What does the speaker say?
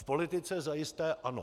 V politice zajisté ano.